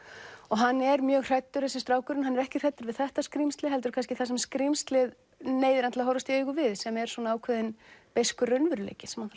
hann er mjög hræddur þessi strákur en hann er ekki hræddur við þetta skrímsli heldur kannski það sem skrímslið neyðir hann til að horfast í augu við sem er ákveðinn beiskur raunveruleiki sem hann